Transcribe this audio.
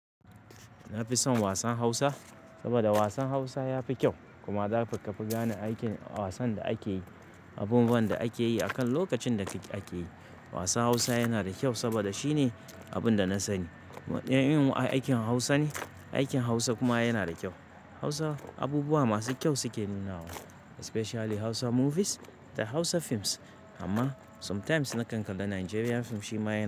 Na fi son wasan Hausa saboda wasan Hausa ya fi kyau kuma zaka fi gane aikin wasan da ake yi, abubuwan da ake yi akan lokacin da ake yi. Wasan Hausa yana da kyau saboda shine abin da na sani. Ɗayan irin aikin Hausa ne, aikin Hausa kuma yana da kyau. Hausa abubuwa masu kyau suke nuna wa, especially Hausa movies da Hausa films. Amma sometimes na kan kalla Nigerian film shi ma yana.